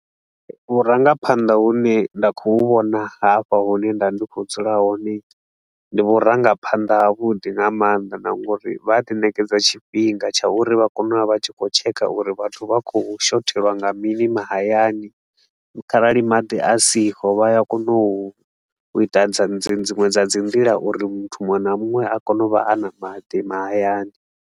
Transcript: Vhurangaphanḓa hune nda khou vhona hafha hune nda ndi khou dzula hone, ndi vhurangaphanḓa ha vhuḓi nga maanḓa na nga uri vha a ḓi ṋekedza tshifhinga tsha uri vha kone u vha tshi khou tshekha uri vhathu vha khou shothelwa nga mini mahayani kharali maḓi a siho, vha ya kona u ita dza dzi dziṅwe dza dzi nḓila uri muthu muṅwe na muṅwe a kone u vha a na maḓi mahayani.